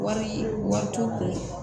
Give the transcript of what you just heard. Wari warico